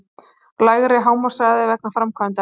Lægri hámarkshraði vegna framkvæmda